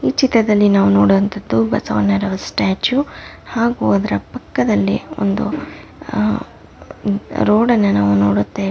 ಈ ಚಿತ್ರದಲ್ಲಿ ನಾವು ನೋಡುವಂತದ್ದು ಬಸವಣ್ಣರವರ ಸ್ಟ್ಯಾಚು ಹಾಗು ಅದರ ಪಕ್ಕದಲ್ಲಿ ಹ ಹ ಒಂದು ರೋಡ ನ್ನು ನಾವು ನೋಡುತ್ತೇವೆ .